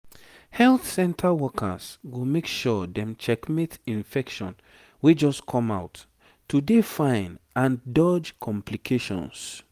health center workers go make sure dem check mate infection wey just come out to dey fine and dodge complications